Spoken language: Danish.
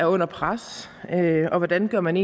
under pres og hvordan gør man